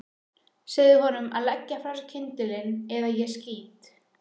Segðu honum að leggja frá sér kyndilinn eða ég skýt.